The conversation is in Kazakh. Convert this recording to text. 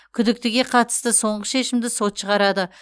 күдіктіге қатысты соңғы шешімді сот шығарады